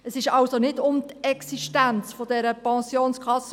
Es ging also nicht um die Existenz dieser Pensionskasse.